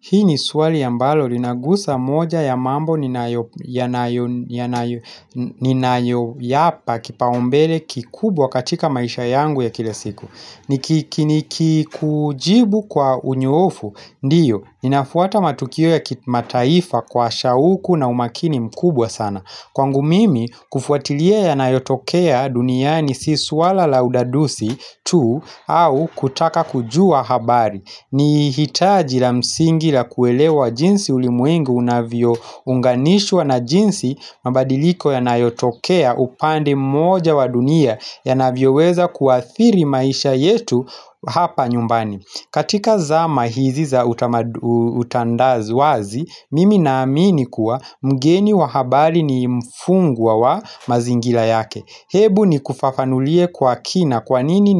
Hii ni swali ambalo linagusa moja ya mambo ninayo yapa kipaumbele kikubwa katika maisha yangu ya kila siku. Nikikujibu kwa unyoofu, ndiyo, inafuata matukio ya kimataifa kwa shauku na umakini mkubwa sana. Kwangu mimi, kufuatilia yanayotokea duniani si swala la udadusi tu au kutaka kujua habari. Ni hitaji la msingi la kuelewa jinsi ulimuengu unavyo unganishwa na jinsi mabadiliko ya nayotokea upande moja wa dunia yanavyoweza kuathiri maisha yetu hapa nyumbani katika zama hizi za utandawazi, mimi naamini kuwa mgeni wa habari ni mfungwa wa mazingira yake Hebu ni kufafanulie kwa kina kwanini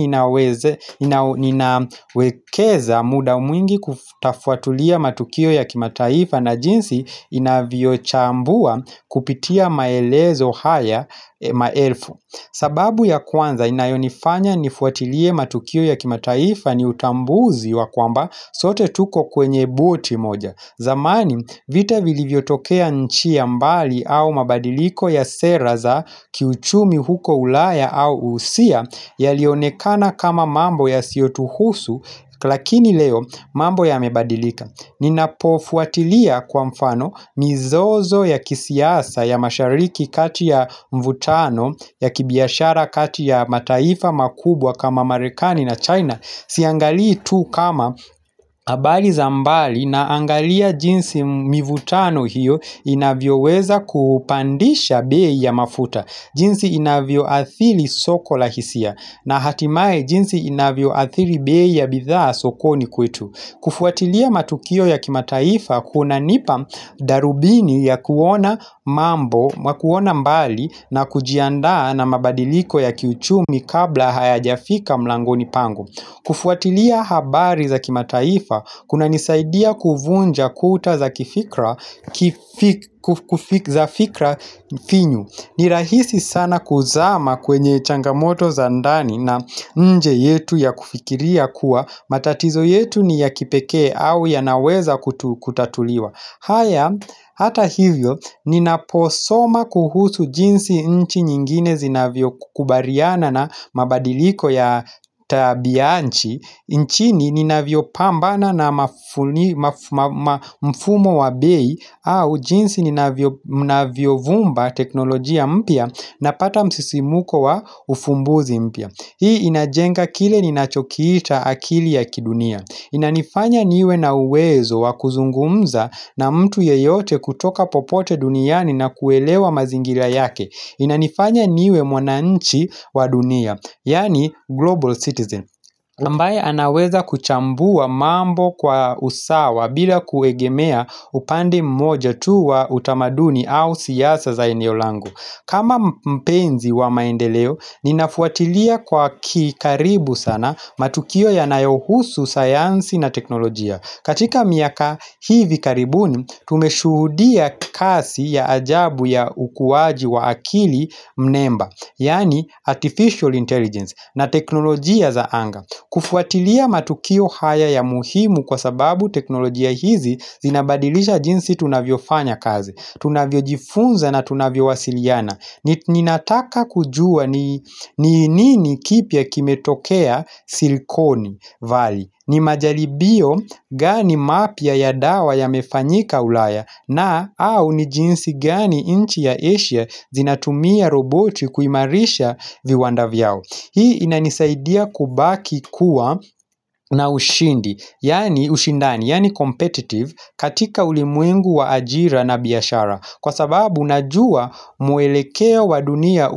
ninawekeza muda mwingi kutafuatulia matukio ya kimataifa na jinsi inaviyochambua kupitia maelezo haya maelfu. Sababu ya kwanza inayonifanya nifuatulie matukio ya kimataifa ni utambuzi wa kwamba sote tuko kwenye buti moja. Zamani vita vilivyotokea nchi ya mbali au mabadiliko ya sera za kiuchumi huko ulaya au usia yalionekana kama mambo yasiotuhusu lakini leo mambo yamebadilika. Ninapofuatilia kwa mfano mizozo ya kisiasa ya mashariki kati ya mvutano ya kibiashara kati ya mataifa makubwa kama marekani na China. Siangalii tu kama habari za mbali naangalia jinsi mivutano hiyo inavyoweza kupandisha bei ya mafuta, jinsi inavyoathiri soko la hisia na hatimaye jinsi inavyoathiri bei ya bithaa sokoni kwetu. Kufuatilia matukio ya kimataifa kunanipa darubini ya kuona mambo na kuona mbali na kujiandaa na mabadiliko ya kiuchumi kabla hayajafika mlangoni pangu. Kufuatilia habari za kimataifa kunanisaidia kuvunja kuta za fikra finyu. Ni rahisi sana kuzama kwenye changamoto za ndani na nje yetu ya kufikiria kua matatizo yetu ni ya kipekee au yanaweza kutatuliwa haya hata hivyo ni naposoma kuhusu jinsi nchi nyingine zinavyo kubariana na mabadiliko ya tabianchi nchini ninavyopambana na mfumo wa bei au jinsi ninavyovumba teknolojia mpya Napata msisimuko wa ufumbuzi mpya Hii inajenga kile ninachokiita akili ya kidunia Inanifanya niwe na uwezo wa kuzungumza na mtu yeyote kutoka popote duniani na kuelewa mazingira yake Inanifanya niwe mwananchi wa dunia Yani global citizen ambaye anaweza kuchambua mambo kwa usawa bila kuegemea upande mmoja tu wa utamaduni au siasa za eneo langu. Kama mpenzi wa maendeleo, ninafuatilia kwa kikaribu sana matukio ya nayohusu sayansi na teknolojia. Katika miaka hivi karibuni, tumeshuhudia kasi ya ajabu ya ukuwaji wa akili mnemba. Yani artificial intelligence na teknolojia za anga kufuatilia matukio haya ya muhimu kwa sababu teknolojia hizi zinabadilisha jinsi tunavyofanya kazi Tunavyojifunza na tunavyowasiliana Ninataka kujua ni nini kipya kimetokea silikoni vali ni majalibio gani mapya ya dawa yamefanyika ulaya na au ni jinsi gani nchi ya asia zinatumia roboti kuimarisha viwanda vyao. Hii inanisaidia kubaki kuwa na ushindi yani ushindani, yani competitive katika ulimwengu wa ajira na biashara Kwa sababu unajua mwelekeo wa dunia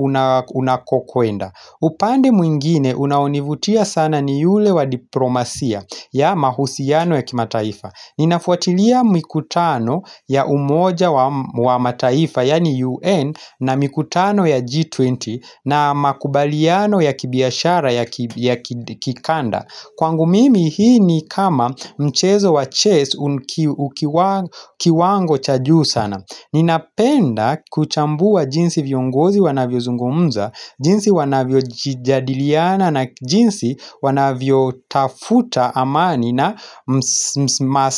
unakokwenda upande mwingine unaonivutia sana ni yule wa diplomasia ya mahusiano ya kimataifa Ninafuatilia mikutano ya umoja wa mataifa yani UN na mikutano ya G20 na makubaliano ya kibiashara ya kikanda Kwangu mimi hii ni kama mchezo wa chase ukiwa kiwango chajuu sana Ninapenda kuchambua jinsi viongozi wanavyo zungumza, jinsi wanavyo jadiliana na jinsi wanavyo tafuta amani na.